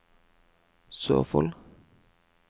Sørfold